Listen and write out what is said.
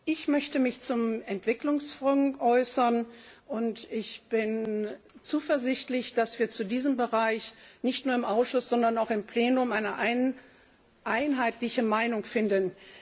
Ich möchte mich zum Entwicklungsfonds äußern, und ich bin zuversichtlich, dass wir zu diesem Bereich nicht nur im Ausschuss, sondern auch im Plenum eine einheitliche Meinung finden.